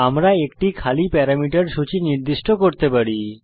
আমরা একটি খালি প্যারামিটার সূচী নির্দিষ্ট করতে পারি